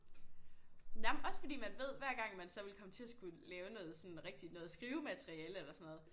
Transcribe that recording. Jamen også fordi man ved hver gang man så ville komme til at skulle lave noget sådan rigtigt noget skrivemateriale eller sådan noget